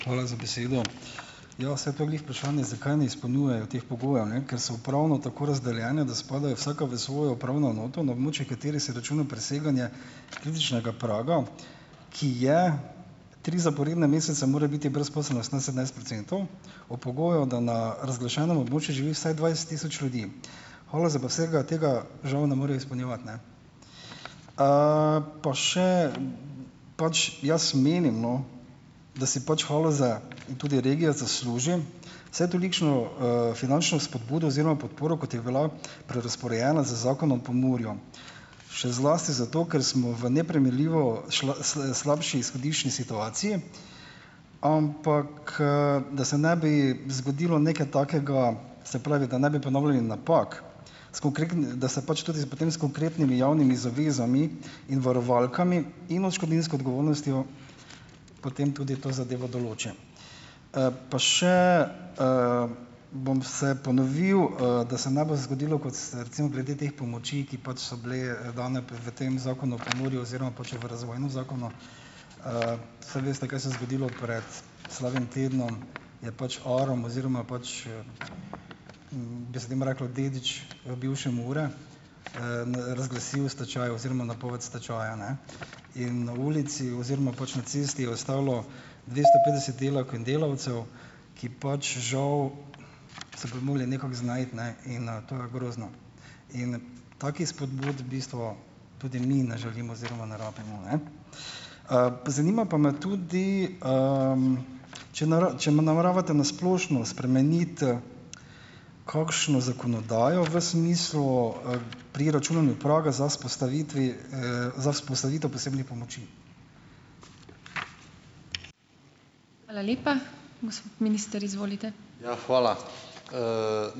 Hvala za besedo. Ja, saj to je glih vprašanje, zakaj ne izpolnjujejo teh pogojev, ne. Ker so upravno tako razdeljene, da spadajo vsaka v svojo upravno enoto, na območje katere se računa preseganje kritičnega praga, ki je tri zaporedne mesece mora biti brezposelnost na sedemnajst procentov ob pogoju, da na razglašenem območju živi vsaj dvajset tisoč ljudi. Haloze pa vsega tega žal ne morejo izpolnjevati, ne. Pa še pač jaz menim, no, da si pač Haloze, in tudi regija, zasluži vsaj tolikšno, finančno spodbudo oziroma podporo, kot je bila prerazporejena z zakonom Pomurju. Še zlasti zato, ker smo v neprimerljivo slabši izhodiščni situaciji, ampak, da se ne bi zgodilo nekaj takega, se pravi, da ne bi ponavljali napak, da se pač tudi s potem s konkretnimi javnimi zavezami in varovalkami in odškodninsko odgovornostjo potem tudi to zadevo določi. Pa še, bom se ponovil, da se ne bo zgodilo, kot ste recimo glede teh pomoči, ki pač so bile dane p v tem zakonu Pomurju oziroma, Saj veste, kaj se je zgodilo pred slabim tednom, je pač Arom, oziroma pač, bi se temu reklo dedič, bivše Mure, razglasil stečaj oziroma napoved stečaja, ne. In na ulici oziroma pač na cesti je ostalo dvesto petdeset delavk in delavcev, ki pač žal se bojo mogli nekako znajti, ne, in, to je grozno. In takih spodbud v bistvu tudi mi ne želimo oziroma ne rabimo, ne. Zanima pa me tudi, če če nameravate na splošno spremeniti kakšno zakonodajo v smislu, pri računanju praga za vzpostavitev, za vzpostavitev posebnih pomoči?